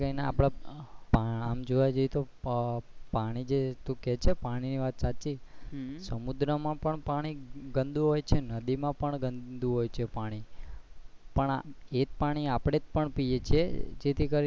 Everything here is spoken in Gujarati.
આમ જોવા જઇયે તો પાણી જે તું કે છે પાણી વાત સાચી છે સમુદ્ર માં પણ પાણી ગંદુ હોય છે નદી માં પણ ગંદુ હોય છે પાણી પણ એજ પાણી આપણે પણ પીએ છે જે થી કરી ને,